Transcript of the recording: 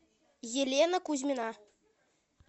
елена кузьмина